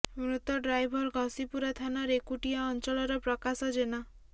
ମୃତ ଡ୍ରାଇଭର ଘସିପୁରା ଥାନା ରେକୁଟିଆ ଅଞ୍ଚଳର ପ୍ରକାଶ ଜେନା